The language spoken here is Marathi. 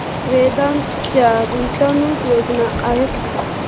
वेदांत च्या गुंतवणूक योजना आहेत का